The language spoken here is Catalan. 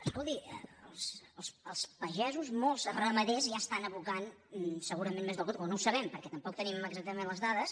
escolti els pagesos molts ramaders ja estan abocant segurament més del compte però no ho sabem perquè tampoc tenim exactament les dades